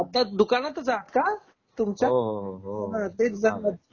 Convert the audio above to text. आता दुकानातच आहात का तुमच्या? दुकानात तेच जाणवल